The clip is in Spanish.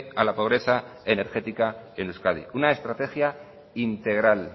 a la pobreza energética en euskadi una estrategia integral